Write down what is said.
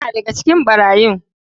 Yana daga cikin barayin.